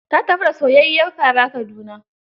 Ta tafi da soyayyiyar fara Kaduna